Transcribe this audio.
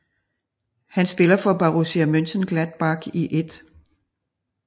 Han spiller for Borussia Mönchengladbach i 1